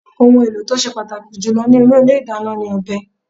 Ohùn èlò tí o sé pàtàkì jùlọ nínú Ilé ìdáná ni ọ̀bẹ